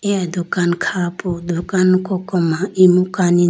eya dukan kha po dukan koko ma imu kani jiya.